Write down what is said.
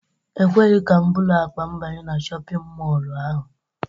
E kweghị ka m buru akpa m banye na shọpịn mọlụ ahụ.